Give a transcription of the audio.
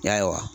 I y'a ye wa